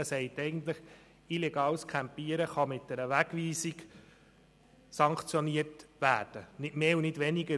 Er sagt eigentlich, dass illegales Campieren mit einer Wegweisung sanktioniert werden kann – nicht mehr und nicht weniger.